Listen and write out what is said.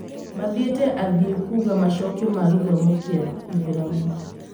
mathĩte athii kuga macokio ma gĩthomo gĩa itharamu